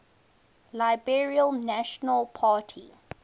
liberal national party